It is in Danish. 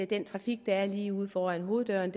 den trafik der er lige ude foran hoveddøren